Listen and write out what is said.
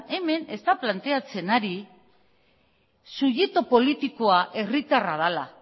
hemen ez da planteatzen ari subjektu politikoa herritarra dela